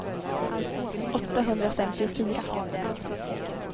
åttahundrafemtiofyra